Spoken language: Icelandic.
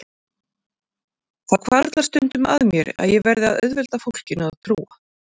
Það hvarflar stundum að mér að ég verði að auðvelda fólkinu að trúa